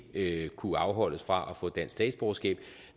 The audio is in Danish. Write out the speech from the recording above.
ikke kunne afholdes fra at få dansk statsborgerskab